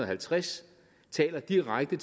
halvtreds taler direkte